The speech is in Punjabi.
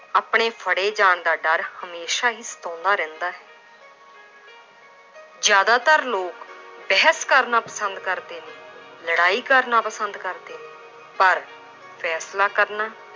ਆਪਣੇ ਫੜੇ ਜਾਣ ਦਾ ਡਰ ਹਮੇਸ਼ਾ ਹੀ ਸਤਾਉਂਦਾ ਰਹਿੰਦਾ ਹੈ ਜ਼ਿਆਦਾਤਰ ਲੋਕ ਬਹਿਸ ਕਰਨਾ ਪਸੰਦ ਕਰਦੇ ਨੇ, ਲੜਾਈ ਕਰਨਾ ਪਸੰਦ ਕਰਦੇ ਨੇ, ਪਰ ਫੈਸਲਾ ਕਰਨਾ